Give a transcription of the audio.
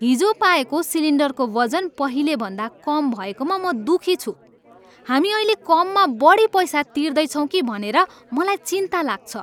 हिजो पाएको सिलिन्डरको वजन पहिलेभन्दा कम भएकोमा म दुखी छु। हामी अहिले कममा बढी पैसा तिर्दैछौँ कि भनेर मलाई चिन्ता लाग्छ।